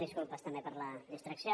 disculpes també per la distracció